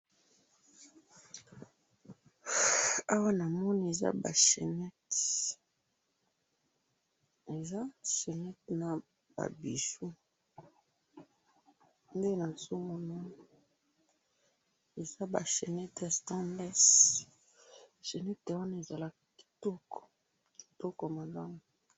awa na moni eza ba chenette na ba bijoux chenette wana ezalaka kitoko kitoko malamu